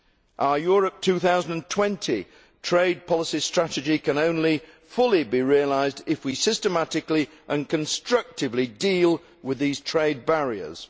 Our Europe 2020 trade policy strategy can only fully be realised if we systematically and constructively deal with these trade barriers.